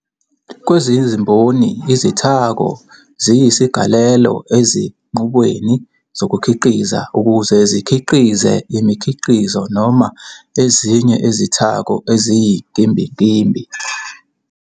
Kwezezimboni, izithako ziyizigalelo ezinqubweni zokukhiqiza ukuze zikhiqize imikhiqizo noma ezinye ezithako eziyinkimbinkimbi.